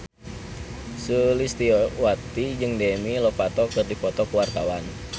Sulistyowati jeung Demi Lovato keur dipoto ku wartawan